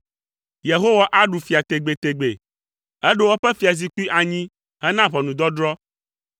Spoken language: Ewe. Yehowa aɖu fia tegbetegbe; eɖo eƒe fiazikpui anyi hena ʋɔnudɔdrɔ̃.